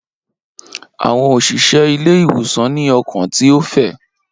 Awọn oṣiṣẹ ile-iwosan ni ọkan ti o fẹ.